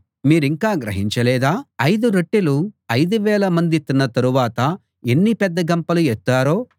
మీరింకా గ్రహించలేదా ఐదు రొట్టెలు ఐదు వేలమంది తిన్న తరువాత ఎన్ని పెద్ద గంపలు ఎత్తారో